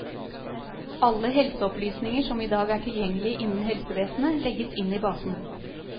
Alle helseopplysninger som i dag er tilgjengelig innen helsevesenet, legges inn i basen.